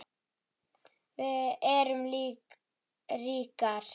Við erum ríkar